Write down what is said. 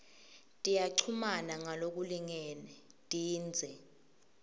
tiyachumana ngalokulingene tindze